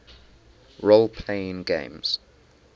role playing games